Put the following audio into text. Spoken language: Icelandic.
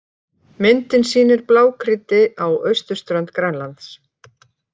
Myndin sýnir blágrýti á austurströnd Grænlands.